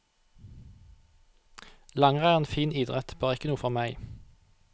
Langrenn er en fin idrett, bare ikke noe for meg.